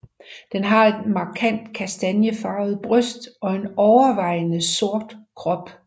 Den har et markant kastaniefarvet bryst og en overvejende sort krop